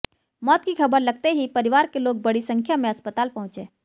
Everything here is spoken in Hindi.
मौत की खबर लगते ही परिवार के लोग बड़ी संख्या में अस्पताल पहुंचे